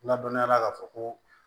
Ladɔnniyala ka fɔ ko